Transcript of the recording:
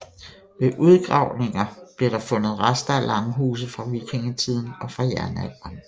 Ved ucgravninger blev der fundet rester af langhuse fra vikingetiden og fra jernalderen